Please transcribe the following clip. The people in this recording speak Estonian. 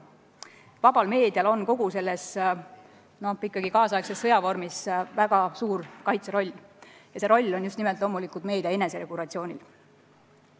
Vabal meedial aga on kogu selles tänapäevases sõjas väga suur kaitseroll ja see roll tugineb loomulikult just nimelt meedia eneseregulatsioonile.